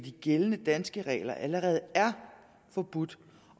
gældende danske regler allerede er forbudt